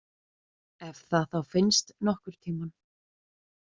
Ef það þá finnst nokkurn tímann.